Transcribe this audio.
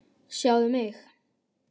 Sjáðu mig.